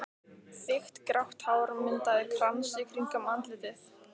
Þykkt grátt hár myndaði krans í kringum andlitið.